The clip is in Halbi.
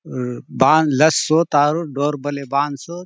हु बांद लतसोत आउर डोर बले बांदसोत--